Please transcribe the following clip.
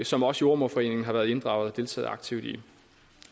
som også jordemoderforeningen har været inddraget deltaget aktivt i